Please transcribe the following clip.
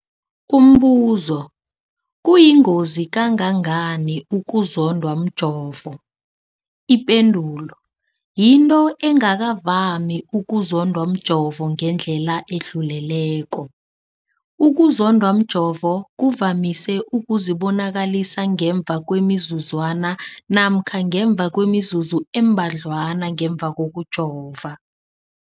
Umbuzo, kuyingozi kangangani ukuzondwa mjovo? Ipendulo, yinto engakavami ukuzondwa mjovo ngendlela edluleleko. Ukuzondwa mjovo kuvamise ukuzibonakalisa ngemva kwemizuzwana namkha ngemva kwemizuzu embadlwana ngemva kokujova.